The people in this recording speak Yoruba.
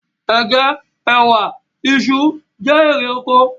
Ègé, ẹwà, iṣu, jẹ́ èrè oko